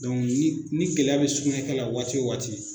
ni ni gɛlɛya bɛ sugunɛkɛ la waati o waati